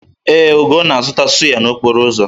Ee, Ugo na-azụta sụ́yá n'okporo ụzọ?